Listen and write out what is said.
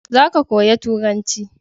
za ka koya turanci!